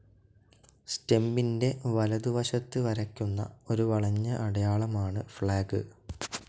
സ്റ്റെമ്മിന്റെ വലതുവശത്ത് വരയ്ക്കുന്ന ഒരു വളഞ്ഞ അടയാളമാണ് ഫ്ലാഗ്.